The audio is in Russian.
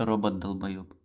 робот долбоеб